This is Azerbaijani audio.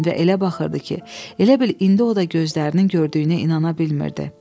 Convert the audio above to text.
Və elə baxırdı ki, elə bil indi o da gözlərinin gördüyünə inana bilmirdi.